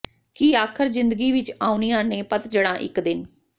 ਕਿ ਆਖਰ ਜ਼ਿੰਦਗੀ ਵਿਚ ਆਉਣੀਆਂ ਨੇ ਪਤਝੜਾਂ ਇਕ ਦਿਨ